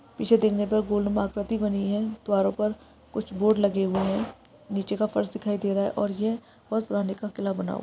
पीछे देख ने पर गोलनुमा आकृति बनी है द्वारो पर कुछ बोर्ड लगे गए है निचे का फर्श दिखाई दे रहा है और ये बहुत पुराणे का किला बना हुआ है।